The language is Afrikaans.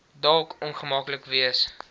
dalk ongemaklik wees